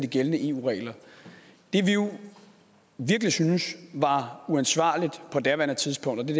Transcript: gældende eu regler og virkelig syntes var uansvarligt på daværende tidspunkt